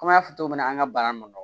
Komi an y'a fɔ cogo min na an ka bana ninnu